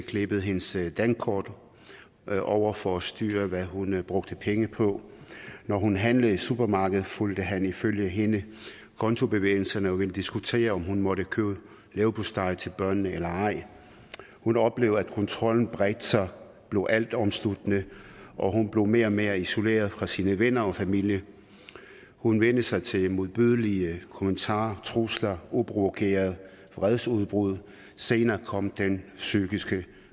klippede hendes dankort over for at styre hvad hun brugte penge på og når hun handlede i supermarkedet fulgte han ifølge hende kontobevægelserne og ville diskutere om hun måtte købe leverpostej til børnene eller ej hun oplevede at kontrollen bredte sig blev altomsluttende og hun blev mere og mere isoleret fra sine venner og familie hun vænnede sig til modbydelige kommentarer og trusler uprovokerede vredesudbrud og senere kom den psykiske